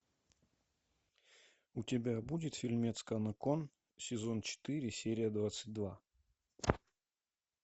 у тебя будет фильмец канокон сезон четыре серия двадцать два